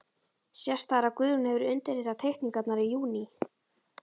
Sést þar, að Guðjón hefur undirritað teikningarnar í júní